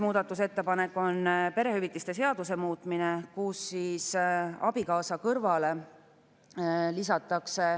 Muudatusettepanekuga nr 5 täpsustatakse kunstliku viljastamise ja embrüokaitse seaduses nende naiste vanust, kelle puhul on lubatav kunstlik viljastamine.